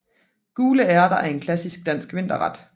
Gule ærter er en klassisk dansk vinterret